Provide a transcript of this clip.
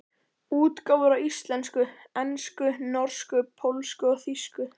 Útgáfur á íslensku, ensku, norsku, pólsku og þýsku.